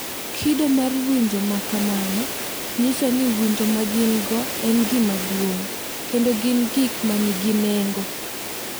Kido mar winjo ma kamano nyiso ni winjo ma gin-go en gima duong’ kendo ni gin gik ma nigi nengo, .